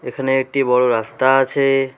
এখানে একটি বড় রাস্তা আছে।